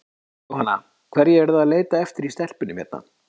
Jóhanna: Hverju eruð þið að leita eftir í stelpunum hérna?